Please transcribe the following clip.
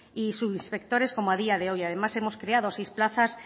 y subinspectores como a día de hoy además hemos creado seis plazas